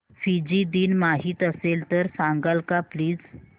Fiji दिन माहीत असेल तर सांगाल का प्लीज